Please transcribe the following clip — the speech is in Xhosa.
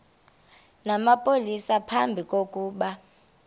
namapolisa phambi kokuba